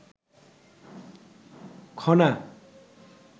Khana